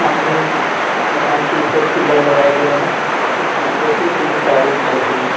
सामने मकान के ऊपर पिलर लगाए गए है जिसके ऊपर से तीन तारें गुजर रही है।